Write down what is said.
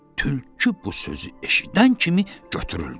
Tülkü bu sözü eşidən kimi götürüldü.